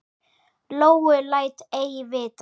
Lóu læt ei vita.